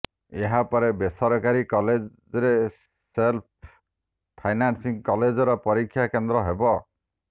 ଏହାପରେ ବେସରକାରୀ କଲେଜରେ ସେଲ୍ଫ ଫାଇନାନ୍ସିଂ କଲେଜର ପରୀକ୍ଷା କେନ୍ଦ୍ର ହେବ